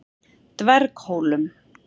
Dverghólum